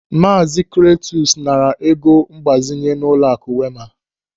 Maazi Kletus naara ego mgbazinye n'ụlọaku Wema.